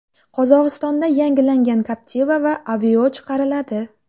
Qozog‘istonda yangilangan Captiva va Aveo chiqariladi.